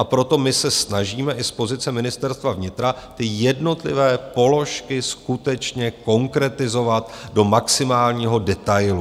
A proto my se snažíme i z pozice Ministerstva vnitra ty jednotlivé položky skutečně konkretizovat do maximálního detailu.